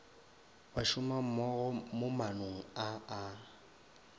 bašomammogo mo maanong a a